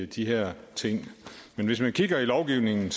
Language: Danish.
de her ting hvis man kigger i lovgivningen